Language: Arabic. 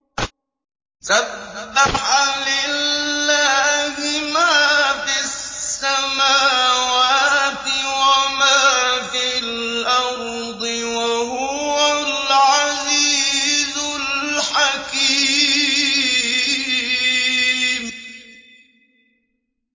سَبَّحَ لِلَّهِ مَا فِي السَّمَاوَاتِ وَمَا فِي الْأَرْضِ ۖ وَهُوَ الْعَزِيزُ الْحَكِيمُ